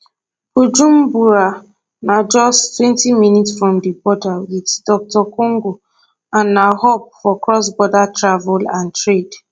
bujumbura na justtwentyminutes from di border wit dr congo and na hub for crossborder travel and trade